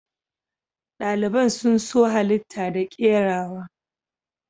Daliban sun so halita da kerawa.